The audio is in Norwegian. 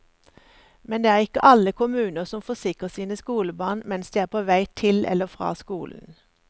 Men det er ikke alle kommuner som forsikrer sine skolebarn mens de er på vei til eller fra skolen.